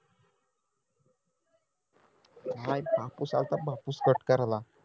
हा इथं बापूस आलथा बापूस cut कराला